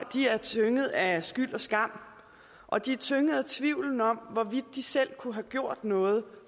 er tynget af skyld og skam og de er tynget af tvivlen om hvorvidt de selv kunne have gjort noget